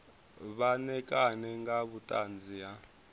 vha ṋekane nga vhuṱanzi ha